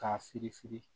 K'a firi firi